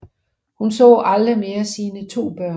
Hun så aldrig mere sine 2 børn